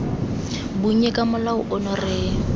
bonnye ka molao ono re